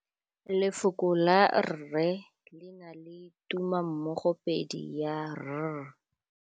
Lefoko la rre le na le tumammogôpedi ya, r.